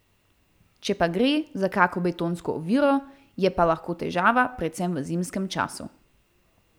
Če pa gre za kako betonsko oviro, je pa lahko težava predvsem v zimskem času.